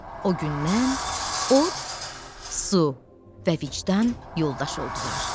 O gündən od, su və vicdan yoldaş oldular.